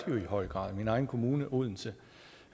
jo i høj grad i min egen kommune odense